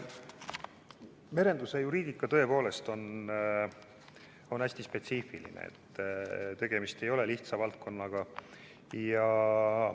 Merenduse juriidika on tõepoolest hästi spetsiifiline, tegemist ei ole lihtsa valdkonnaga.